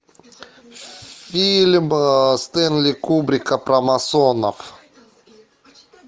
фильм стэнли кубрика про масонов